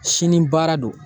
Sini baara don